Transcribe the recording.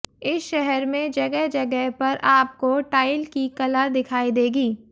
इस शहर में जगह जगह पर आप को टाइल की कला दिखाई देगी